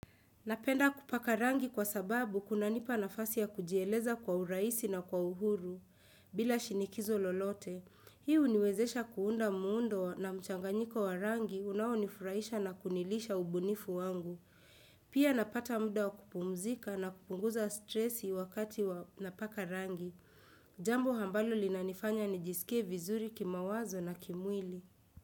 Napenda kupaka rangi kwa sababu kunanipa nafasi ya kujieleza kwa uraisi na kwa uhuru bila shinikizo lolote hii huniwezesha kuunda muundo na mchanganyiko wa rangi unaonifuraisha na kunilisha ubunifu wangu pia napata muda wa kupumzika na kupunguza stresi wakati napaka rangi jambo ambalo linanifanya nijisikie vizuri kimawazo na kimwili.